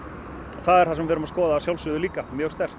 það er það sem við erum að skoða að sjálfsögðu líka mjög sterkt